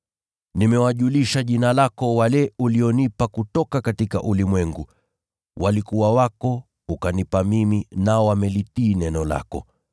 “Nimelidhihirisha jina lako kwa wale ulionipa kutoka ulimwengu. Walikuwa wako, nawe ukanipa mimi, nao wamelitii neno lako.